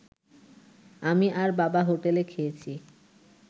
আমি আর বাবা হোটেলে খেয়েছি